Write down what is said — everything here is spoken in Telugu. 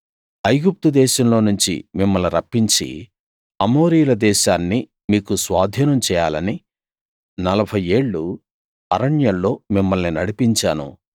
ఐగుప్తు దేశంలో నుంచి మిమ్మల్ని రప్పించి అమోరీయుల దేశాన్ని మీకు స్వాధీనం చేయాలని నలభై ఏళ్ళు అరణ్యంలో మిమ్మల్ని నడిపించాను